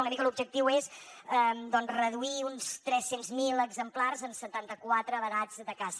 una mica l’objectiu és doncs reduir uns tres cents miler exemplars en setanta quatre vedats de caça